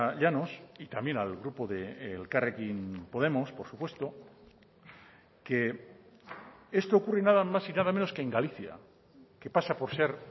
llanos y también al grupo de elkarrekin podemos por supuesto que esto ocurre nada más y nada menos que en galicia que pasa por ser